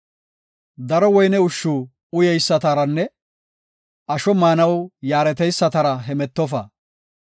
Daro woyne ushshu uyeysataranne asho maanaw yaareteysatara hemetofa.